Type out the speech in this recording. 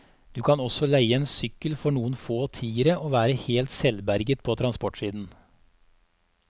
Du kan også leie en sykkel for noen få tiere og være helt selvberget på transportsiden.